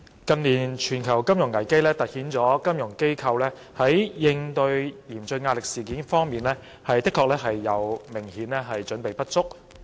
近年全球金融危機凸顯金融機構在應對嚴峻壓力方面，明顯準備不足。